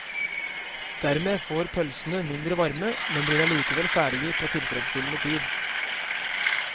Dermed får pølsene mindre varme, men blir allikevel ferdige på tilfredsstillende tid.